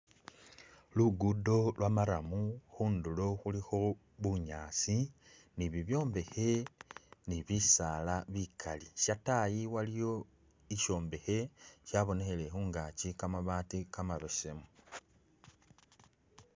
Lugudo lwo marrum ,khundulo khulikho bunyaasi ni bibyombekhe ni bisaala bikali ,shyatayi waliyo ishombekhe shabonekhele khungaaki kamabaati kamabesemu